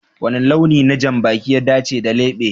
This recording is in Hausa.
Wani launi na janbaki ya dace da lebe?